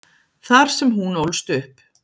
Þar sem hún ólst upp.